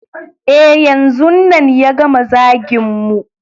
E, yanzun nan ya gama zagin mu.